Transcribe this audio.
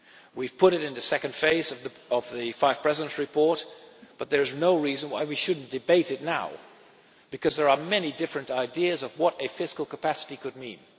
We have put it in the second phase of the Five Presidents' Report, but there is no reason why we should not debate it now, because there are many different ideas of what a fiscal capacity could mean.